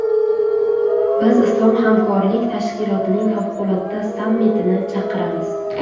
Biz Islom hamkorlik tashkilotining favqulodda sammitini chaqiramiz.